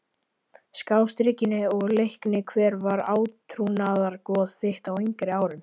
Skástrikinu og Leikni Hver var átrúnaðargoð þitt á yngri árum?